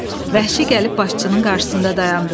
Vəhşi gəlib başçının qarşısında dayandı.